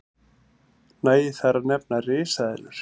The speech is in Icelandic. nægir þar að nefna risaeðlur